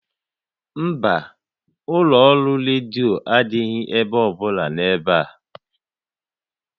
Mba, ụlọ ọrụ redio adịghị ebe ọbụla n'ebe a